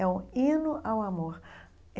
É um hino ao amor.